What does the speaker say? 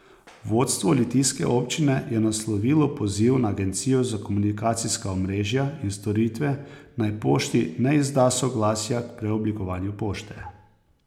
Vodstvo litijske občine je naslovilo poziv na agencijo za komunikacijska omrežja in storitve, naj Pošti ne izda soglasja k preoblikovanju pošte.